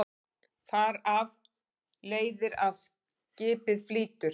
Þar af leiðir að skipið flýtur.